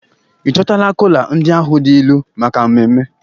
Ị chịkọtala kola ndị ahụ dị ilu maka ememme?